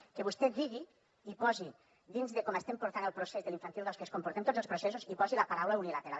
que vostè digui i posi dins de com estem portant el procés de l’infantil dos que és com portem tots els processos i hi posi la paraula unilateral